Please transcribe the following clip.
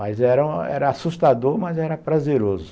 Mas era era assustador, mas era prazeroso.